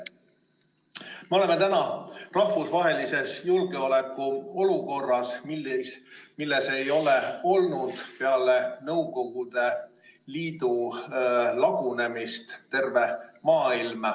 Me oleme täna rahvusvahelises julgeolekuolukorras, milles ei ole olnud peale Nõukogude Liidu lagunemist terve maailm.